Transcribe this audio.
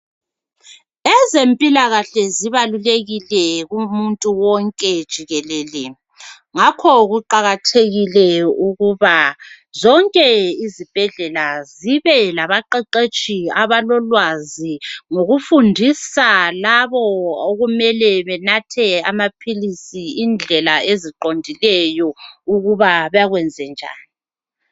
Ezempilakahle zibalulekile kumuntu wonke jikelele ngakho kuqakathekile ukuba zonke izibhedlela zibe labaqeqetshi abalolwazi ngokufundisa labo okumele benathe amaphilisi indlela eziqondileyo ukuba bakwenze njani.